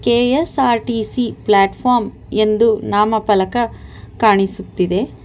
KSRTC platform ಎಂದು ನಾಮಪಲಕ ಕಾಣಿಸುತ್ತಿದೆ.